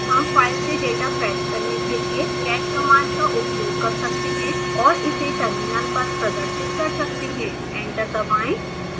हम फाइल से data fetch करने के लिए cat कमांड उपयोग कर सकते हैं और इसे टर्मिनल पर प्रदर्शित कर सकते हैं एंटर दबाएं